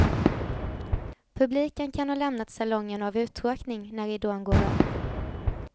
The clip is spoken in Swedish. Publiken ka ha lämnat salongen av uttråkning när ridån går upp.